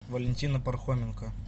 валентина пархоменко